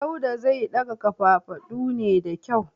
Dauda zai daga kafafadu ne da kyau.